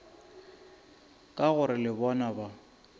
ka gore le bona ba